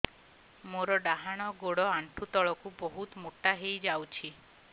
ମୋର ଡାହାଣ ଗୋଡ଼ ଆଣ୍ଠୁ ତଳକୁ ବହୁତ ମୋଟା ହେଇଯାଉଛି